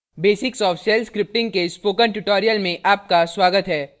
basics of shell scripting के spoken tutorial में आपका स्वागत है